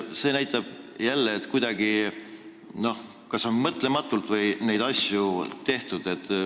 See näitab jälle, et kuidagi mõtlematult on neid asju tehtud.